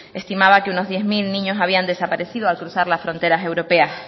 estimaba que unos diez mil niños habían desaparecido al cruzar las fronteras europeas